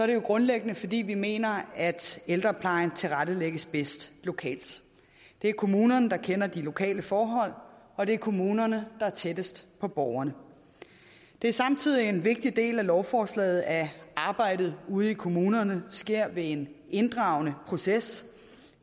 det jo grundlæggende fordi vi mener at ældreplejen tilrettelægges bedst lokalt det er kommunerne der kender de lokale forhold og det er kommunerne der er tættest på borgerne det er samtidig en vigtig del af lovforslaget at arbejdet ude i kommunerne sker ved en inddragende proces